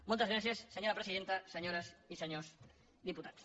moltes gràcies senyora presidenta senyores i senyors diputats